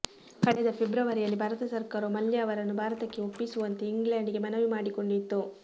ಕಳೆದ ಫೆಬ್ರವರಿಯಲ್ಲಿ ಭಾರತ ಸರ್ಕಾರವು ಮಲ್ಯ ಅವರನ್ನು ಭಾರತಕ್ಕೆ ಒಪ್ಪಿಸುವಂತೆ ಇಂಗ್ಲೆಂಡ್ ಗೆ ಮನವಿ ಮಾಡಿಕೊಂಡಿತ್ತು